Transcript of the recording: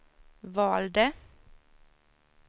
valde